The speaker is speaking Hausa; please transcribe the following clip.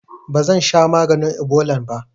Bazansha maganin ibolan ba